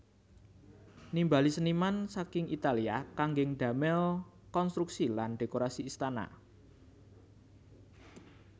Nimbali seniman saking Italia kanggé damel konstruksi lan dhékorasi istana